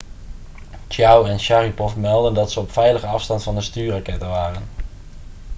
chiao en sharipov meldden dat ze op veilige afstand van de stuurrakketten waren